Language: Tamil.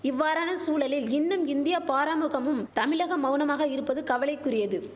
இவ்வாறான சூழலில் இன்னும் இந்தியா பாராமுகமும் தமிழகம் மௌனமாக இருப்பது கவலைகுரியது